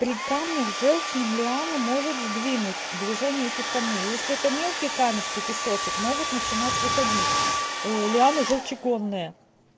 при камнях в жёлчном лиану может сдвинуть движения этих камней если это мелкие камешки песочек могут начинать выходить ээ лиана желчегонное